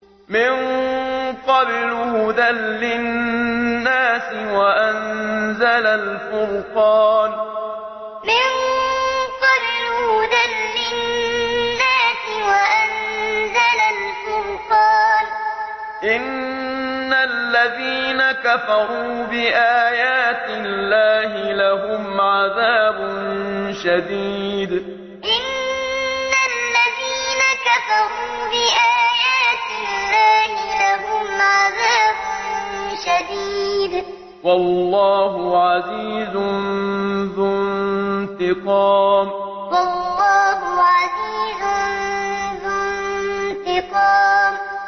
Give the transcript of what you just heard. مِن قَبْلُ هُدًى لِّلنَّاسِ وَأَنزَلَ الْفُرْقَانَ ۗ إِنَّ الَّذِينَ كَفَرُوا بِآيَاتِ اللَّهِ لَهُمْ عَذَابٌ شَدِيدٌ ۗ وَاللَّهُ عَزِيزٌ ذُو انتِقَامٍ مِن قَبْلُ هُدًى لِّلنَّاسِ وَأَنزَلَ الْفُرْقَانَ ۗ إِنَّ الَّذِينَ كَفَرُوا بِآيَاتِ اللَّهِ لَهُمْ عَذَابٌ شَدِيدٌ ۗ وَاللَّهُ عَزِيزٌ ذُو انتِقَامٍ